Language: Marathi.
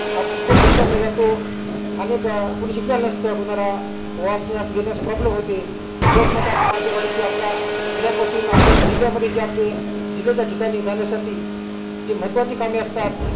आपुन थेट bus stand मध्ये जातो अनेक कोणी शिकलेले नसत कोणाला वाचण्यास लिहण्यास problem होते बस मध्ये असे माध्यम आहे कि आपल्या खेड्यातपासून आपल्याला जिल्या मध्ये जे आपले जिल्याचे ठिकाणी जाण्यासाठी जे महत्वाची कामे असतात